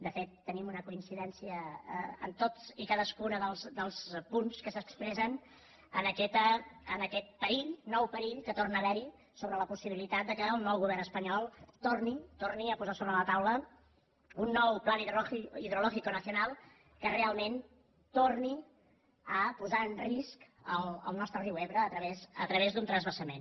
de fet tenim una coincidència en tots i cadascun dels punts que s’expressen en aquest perill nou perill que torna haver hi sobre la possibilitat que el nou govern espanyol torni a posar sobre la taula un nou plan hidrológico nacional que realment torni a posar en risc el nostre riu ebre a través d’un transvasament